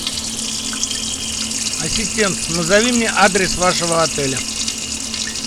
ассистент назови мне адрес вашего отеля